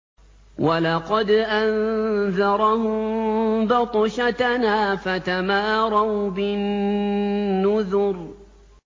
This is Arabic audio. وَلَقَدْ أَنذَرَهُم بَطْشَتَنَا فَتَمَارَوْا بِالنُّذُرِ